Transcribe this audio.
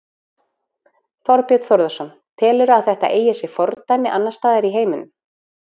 Þorbjörn Þórðarson: Telurðu að þetta eigi sér fordæmi annarsstaðar í heiminum?